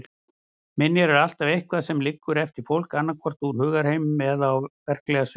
Minjar er alltaf eitthvað sem liggur eftir fólk, annaðhvort úr hugarheiminum eða á verklega sviðinu.